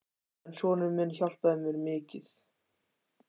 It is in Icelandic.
En sonur minn hjálpaði mér mikið.